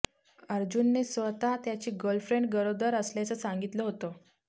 अर्जुनने स्वतः त्याची गर्लफ्रेंड गरोदर असल्याचं सांगितलं होतं